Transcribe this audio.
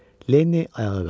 Lenni ayağa qalxdı.